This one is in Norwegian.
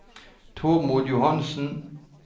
Tormod Johansson